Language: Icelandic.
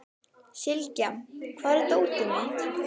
Sylgja, hvar er dótið mitt?